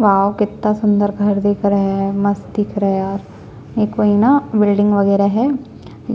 wow कितना सुंदर घर दिख रहा हैं मस्त दिख रहा है यार ये कोई ना बिल्डिंग वगैरह है